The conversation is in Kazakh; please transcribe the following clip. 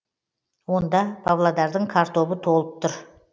онда павлодардың картобы толып тұр